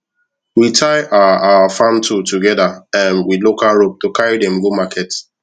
we tie our our farm tool together um with local rope to carry dem go market